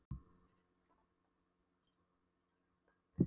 Fisksjúkdómanefnd að birta rannsóknir sínar og niðurstöður um þetta efni.